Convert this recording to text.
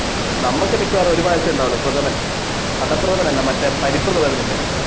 നമുക്ക് മിക്ക്യവാറും ഒരു പായസമേ ഉണ്ടാവൂള് പ്രഥമൻ അടപ്രഥമൻ അല്ല പരിപ്പ് പ്രഥമൻ ഇല്ലേ